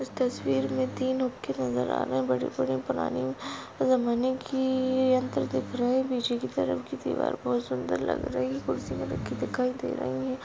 इस तस्वीर मे तीन हुक्के नजर आ रहे है बड़े बड़े पुरानी जमाने की यंत्र दिख रहे है पीछे की तरफ की दीवार बहुत सुंदर लग रही है कुर्सी भी रखी दिखाई दे रही है।